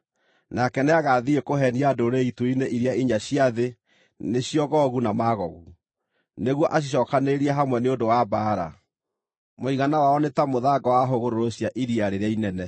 nake nĩagathiĩ kũheenia ndũrĩrĩ ituri-inĩ iria inya cia thĩ, nĩcio Gogu na Magogu, nĩguo acicookanĩrĩrie hamwe nĩ ũndũ wa mbaara. Mũigana wao nĩ ta mũthanga wa hũgũrũrũ cia iria rĩrĩa inene.